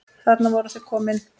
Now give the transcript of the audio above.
Þarna voru þau komin.